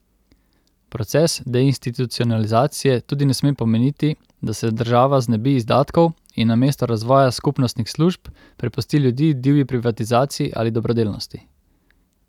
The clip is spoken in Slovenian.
Proces deinstitucionalizacije tudi ne sme pomeniti, da se država znebi izdatkov in namesto razvoja skupnostnih služb prepusti ljudi divji privatizaciji ali dobrodelnosti.